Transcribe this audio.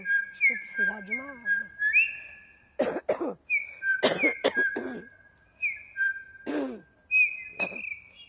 Acho que vou precisar de uma água.